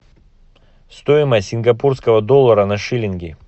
стоимость сингапурского доллара на шиллинги